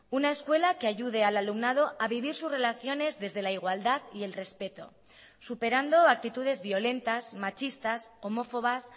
una escuela que ayude al alumnado a vivir sus relaciones desde la igualdad y el respeto superando actitudes violentas machistas homófobas